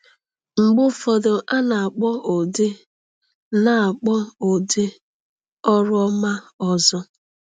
Mgbe ụfọdụ, a na-akpọ ụdị na-akpọ ụdị ọrụ ọma ọzọ.